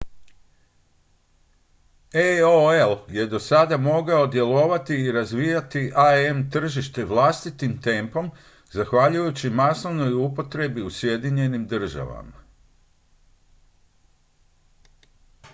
aol je do sada mogao djelovati i razvijati im tržište vlastitim tempom zahvaljujući masovnoj upotrebi u sjedinjenim državama